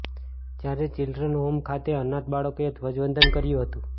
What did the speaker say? જયારે children home ખાતે અનાથ બાળકોએ ધ્વજવંદન કર્યુ હતું